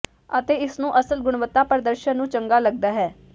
ਅਤੇ ਇਸ ਨੂੰ ਅਸਲ ਗੁਣਵੱਤਾ ਪ੍ਰਦਰਸ਼ਨ ਨੂੰ ਚੰਗਾ ਲੱਗਦਾ ਹੈ